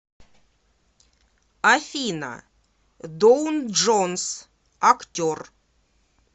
афина доун джонс актер